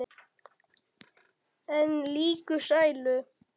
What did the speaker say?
En líka sælu.